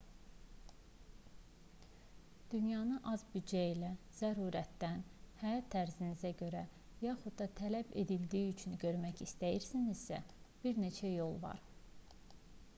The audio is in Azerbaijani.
dünyanı az büdcə ilə zərurətdən həyat tərzinizə görə yaxud da tələb edildiyi üçün görmək istəyirsinizsə bir neçə yol var